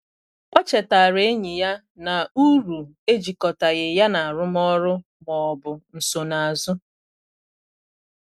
O chetaara enyi ya na uru ejịkọtaghị ya na arụmọrụ ma ọ bụ nsonazu